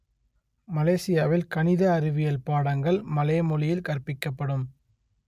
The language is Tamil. மலேசியாவில் கணித அறிவியல் பாடங்கள் மலே மொழியில் கற்பிக்கப்படும்